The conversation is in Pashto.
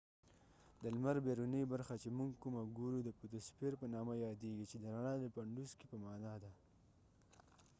د لمر بیرونی برخه چې موږ کومه ګورو د فوتوسفیر په نامه یاديږی چې د رڼا د پنډوسکې په معنی ده